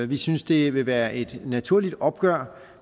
vi synes det vil være et naturligt opgør